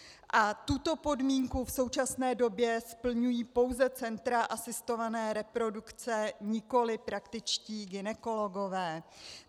A tuto podmínku v současné době splňují pouze centra asistované reprodukce, nikoliv praktičtí gynekologové.